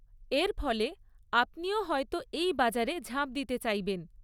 এর ফলে আপনিও হয়তো এই বাজারে ঝাঁপ দিতে চাইবেন।